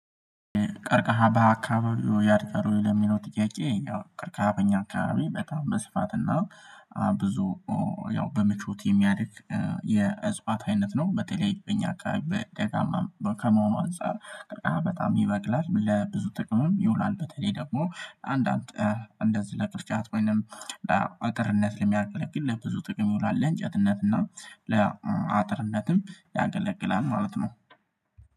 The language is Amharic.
ቀርቀሃ በአካባቢው ያድቀሩኝ ለሚለው ጥያቄ ያው ቀርቀሃ በኛ አካባቢ በጣም በስፋትና ብዙ ያው በመቾት የሚያድግ የእጽዋት አይነት ነው በተለይ እኛ አከባቢ ከደጋማ ከመሆኑ አንፃር በጣም ይበቅላል ለብዙ ጥቅሙም ይውላል በተለይ ደግሞ አንዳንድ እንደዚህ ለቅርጫት ወይንም ለአጥርነት የሚያገለግል ለብዙ ጥቅም ይውላል ለእንጨትነት እና ለአጥርነትም ያገለግላል ማለት ነው።